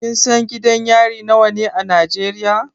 Kin san gidan yari nawa ne a Najeriya?